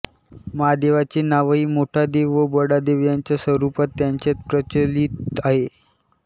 महादेवाचे नावही मोठादेव व बडादेव याच स्वरूपात त्यांच्यात प्रचलित आहे